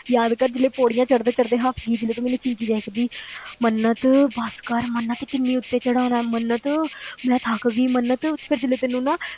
ਯਾਦ ਕਰ ਜਦੋਂ ਤੂੰ ਪੌੜੀਆਂ ਚੜ੍ਹਦੇ ਚੜ੍ਹਦੇ ਹਫ਼ ਗਈ, ਜਦੋਂ ਤੂੰ ਮੈਨੂੰ ਚੀਖੀ ਜਾਇਆ ਕਰਦੀ ਮੰਨਤ ਬਸ ਕਰ ਮੰਨਤ ਕਿੰਨੀ ਉੱਤੇ ਚੜ੍ਹਾਉਣਾ ਹੈ ਮੰਨਤ ਮੈਂ ਥੱਕ ਗਈ ਮੰਨਤ, ਫਿਰ ਜਦੋਂ ਤੈਨੂੰ ਨਾ